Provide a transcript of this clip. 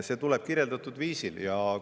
See tuleb kirjeldatud viisil.